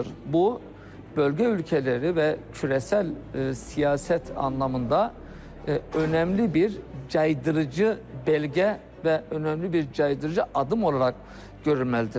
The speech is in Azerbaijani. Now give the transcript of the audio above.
Bu, bölgə ölkələri və qlobal siyasət mənasında əhəmiyyətli bir caydırıcı sənəd və əhəmiyyətli bir caydırıcı addım olaraq görülməlidir.